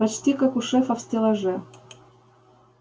почти как у шефа в стеллаже